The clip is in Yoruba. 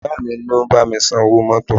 Ìyá mi ni ó bá mi san owó mọ́tọ̀.